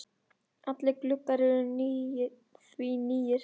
Allir gluggar eru því nýir.